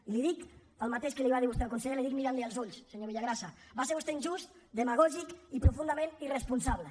i li dic el mateix que li va dir vostè al conseller l’hi dic mirant lo als ulls senyor villagrasa va ser vostè injust demagògic i profundament irresponsable